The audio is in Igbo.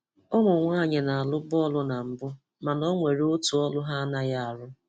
Ụmụnwáanyị na-arụ̀bụ́ ọrụ́ na mbù, màná ò nwèrè ọ́tụ́ ọ̀rụ́ hà anaghị arụ́.